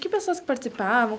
Que pessoas que participavam?